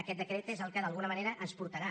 aquest decret és el que d’alguna manera ens portarà